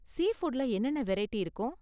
சீ ஃபுட்ல என்னென்ன வெரைட்டி இருக்கும்?